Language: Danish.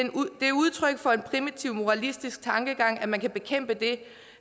er udtryk for en primitiv moralistisk tankegang at man kan bekæmpe det